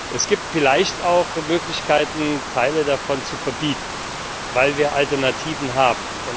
Es gibt vielleicht auch Möglichkeiten, Teile davon zu verbieten, weil wir Alternativen haben.